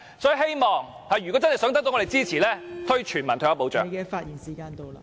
所以政府如果真的想得到我們支持，便要推行全民退休保障。